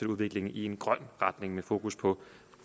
udviklingen i en grøn retning med fokus på